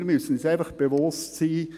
Wir müssen uns bewusst sein: